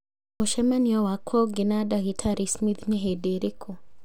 Mũcemanio wakwa ũngĩ na ndagĩtarĩ Smith nĩ hĩndĩ ĩrĩkũ